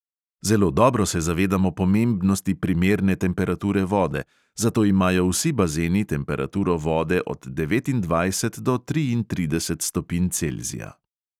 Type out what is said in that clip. Zelo dobro se zavedamo pomembnosti primerne temperature vode, zato imajo vsi bazeni temperaturo vode od devetindvajset do triintrideset stopinj celzija.